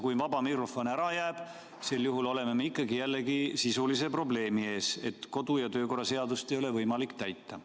Kui vaba mikrofon ära jääb, siis sel juhul oleme ikkagi jälle sisulise probleemi ees, et kodu- ja töökorra seadust ei ole võimalik täita.